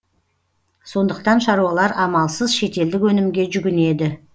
сондықтан шаруалар амалсыз шетелдік өнімге жүгінеді